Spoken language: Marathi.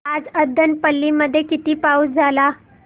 आज अब्बनपल्ली मध्ये किती पाऊस झाला